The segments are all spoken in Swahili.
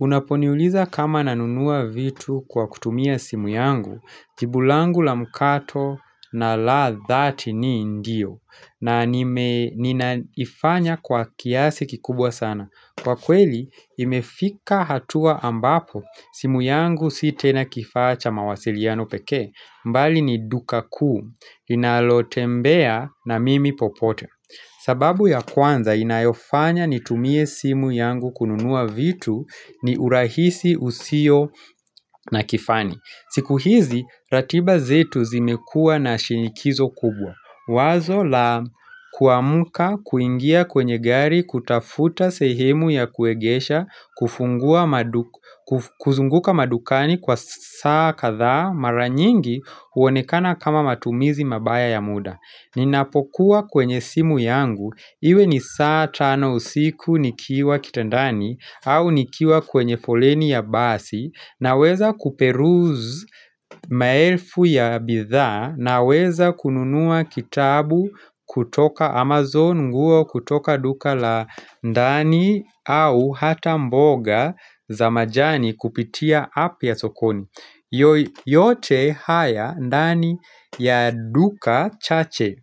Unaponiuliza kama nanunua vitu kwa kutumia simu yangu, jibu langu la mkato na la dhati ni ndiyo, na ninaifanya kwa kiasi kikubwa sana. Kwa kweli, imefika hatua ambapo simu yangu si tena kifaa cha mawasiliano pekee, bali ni duka kuu, linalotembea na mimi popote. Sababu ya kwanza inayofanya nitumie simu yangu kununua vitu ni urahisi usio na kifani. Siku hizi, ratiba zetu zimekuwa na shinikizo kubwa. Wazo la kuamka kuingia kwenye gari kutafuta sehemu ya kuegesha kuzunguka madukani kwa saa kadhaa maranyingi huonekana kama matumizi mabaya ya muda. Ninapokuwa kwenye simu yangu, iwe ni saa tano usiku nikiwa kitandani au nikiwa kwenye foleni ya basi na weza kuperuz maelfu ya bidhaa naweza kununua kitabu kutoka Amazon nguo kutoka duka la ndani au hata mboga za majani kupitia app ya sokoni. Yote haya ndani ya duka chache,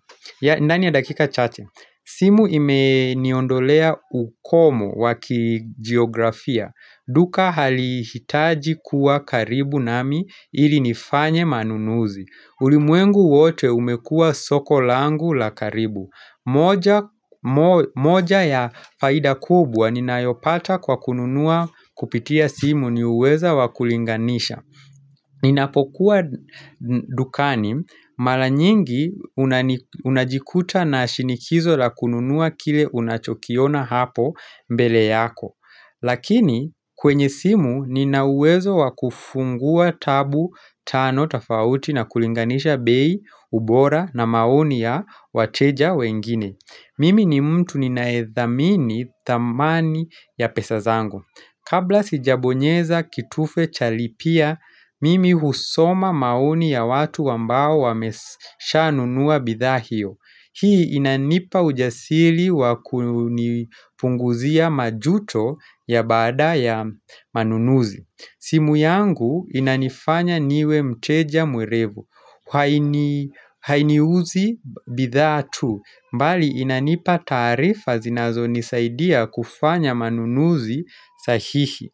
ndani ya dakika chache simu imeniondolea ukomo wa kigeografia. Duka halihitaji kuwa karibu nami ili nifanye manunuzi. Ulimwengu wote umekua soko langu la karibu moja moja ya faida kubwa ninayopata kwa kununua kupitia simu ni uweza wa kulinganisha Ninapokuwa dukani mara nyingi unani unajikuta na shinikizo la kununua kile unachokiona hapo mbele yako Lakini kwenye simu nina uwezo wa kufungua tabu tano tafauti na kulinganisha bei, ubora na maoni ya wateja wengine Mimi ni mtu ninaedhamini thamani ya pesa zangu Kabla sijabonyeza kitufe cha lipia mimi husoma mauni ya watu wambao wamesha nunua bidhaa hiyo. Hii inanipa ujasili wakunipunguzia majuto ya baada ya manunuzi. Simu yangu inanifanya niwe mteja mwerevu haini hainiuzi bidhaa tu, mbali inanipa taarifa zinazo nisaidia kufanya manunuzi sahihi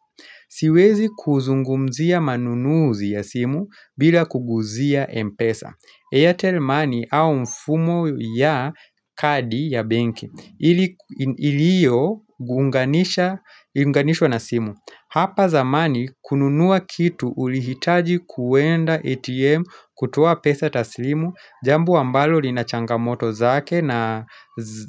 Siwezi kuzungumzia manunuzi ya simu bila kuguzia mpesa, Airtel money au mfumo ya kadi ya benki ili ku iliyo guunganisha unganishwa na simu. Hapa zamani kununuwa kitu ulihitaji kuwenda ATM kutuwa pesa taslimu, jambo ambalo lina changamoto zake na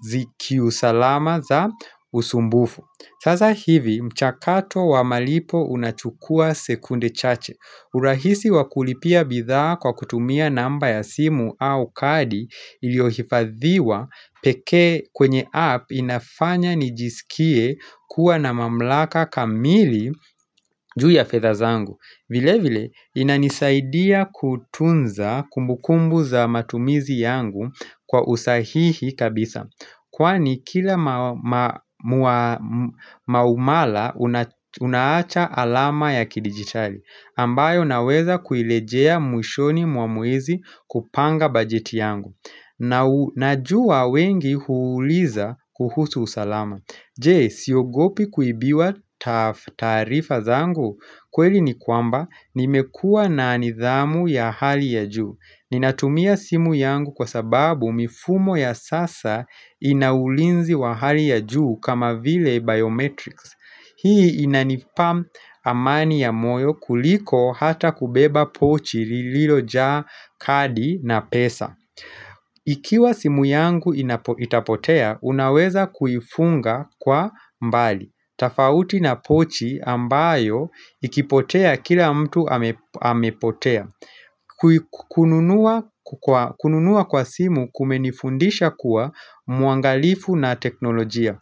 zikiusalama za usumbufu. Saza hivi mchakato wa malipo unachukua sekunde chache. Urahisi wa kulipia bidhaa kwa kutumia namba ya simu au kadi iliyohifadhiwa pekee kwenye app inafanya nijisikie kuwa na mamlaka kamili juu ya fedha zangu. Vile vile, inanisaidia kutunza kumbukumbu za matumizi yangu kwa usahihi kabisa Kwani kila ma ma mua maumala unaacha alama ya kidigitali ambayo naweza kuilejea mwishoni mwa mwezi kupanga bajeti yangu na u Najua wengi huuliza kuhusu usalama Je, siogopi kuibiwa taarifa zangu kweli ni kwamba nimekuwa na nithamu ya hali ya juu Ninatumia simu yangu kwa sababu mifumo ya sasa ina ulinzi wa hali ya juu kama vile biometrics Hii inanipa amani ya moyo kuliko hata kubeba pochi lililojaa kadi na pesa Ikiwa simu yangu inapo itapotea, unaweza kuifunga kwa mbali tafauti na pochi ambayo ikipotea kila mtu amepotea kununua kwa simu kumenifundisha kuwa muangalifu na teknolojia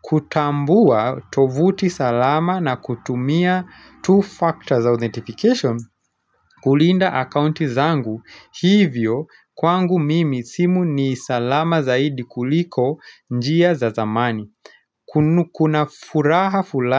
kutambua tovuti salama na kutumia two factors authentification kulinda akaunti zangu hivyo kwangu mimi simu ni salama zaidi kuliko njia za zamani Kuna furaha fulani.